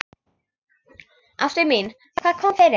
Ástin mín, hvað kom fyrir?